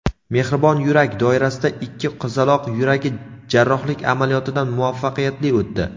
"Mehribon yurak" doirasida ikki qizaloq yuragi jarrohlik amaliyotidan muvaffaqiyatli o‘tdi.